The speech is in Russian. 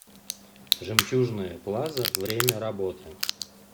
жемчужная плаза время работы